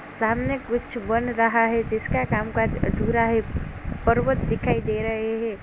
सामने कुछ बन रहा है जिसका काम काज अधूरा है। पर्वत दिखाई दे रहे हैं।